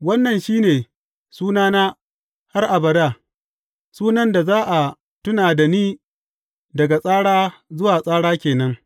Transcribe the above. Wannan shi ne sunana har abada, sunan da za a tuna da ni daga tsara zuwa tsara ke nan.